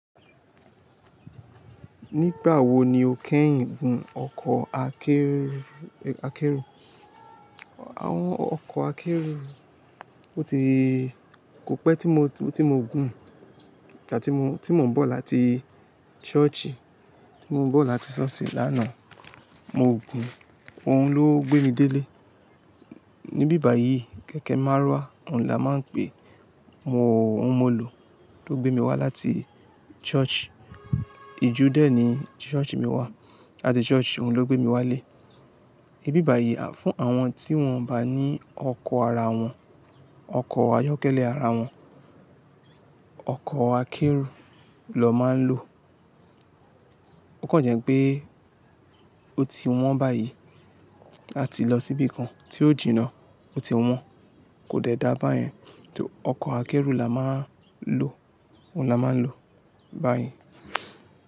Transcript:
Nígbà wo ni o kẹ́yìn gùn ọkọ̀ akẹ́rù? Àwọn ọkọ̀ akẹ́rù kò pẹ́ tí mo gùn tí mo ń bọ̀ lati láti ṣọ́ọ̀ṣì lánàá. Mo gùn, òun ló gbé mi délé. Ni bíbà yìí kẹ̀kẹ́ márúwá òun là máa ń pe, òun mo lò tó gbé mi wá láti ṣọ́ọ̀ṣì. Ijú dẹ́ ni ṣọ́ọ̀ṣì mi wà, làti ṣọ́ọ̀ṣì òun ló gbé mi wálé. Ibi báyìí fún àwọn tí wọ́n bá ní ọkọ̀ ara wọn, ọkọ̀ ayọ́kẹ́lẹ́ ara wọn, ọkọ̀ akẹ́rù ló máa ń lò. Ó kàn jẹ́ pé ó ti wọ́n báyìí, a ti lọ síbi kan tí ó jìnnà ó ti wọ́n kò dẹ dá báyẹn. Ọkọ̀ akẹ́rù là máà ń lò, òun là máa ń lò báyẹn.